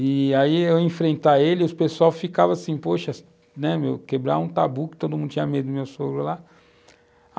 E, aí, eu enfrentar ele, o pessoal ficava assim, poxa, né, meu, quebrar um tabu, que todo mundo tinha medo do meu sogro lá.